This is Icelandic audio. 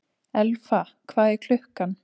Elfa, hvað er klukkan?